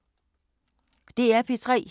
DR P3